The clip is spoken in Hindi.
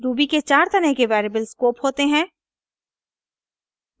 ruby के चार तरह के वेरिएबल स्कोप होते हैं :